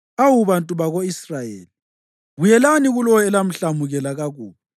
Awu bantu bako-Israyeli, buyelani kulowo elamhlamukela kakubi.